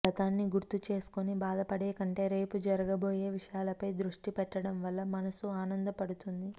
గతాన్ని గుర్తుచేసుకొని బాధ పడేకంటే రేపు జరుగబోయే విషయాలపై దృష్టి పెట్టడం వల్ల మనస్సు ఆనంద పడుతుంది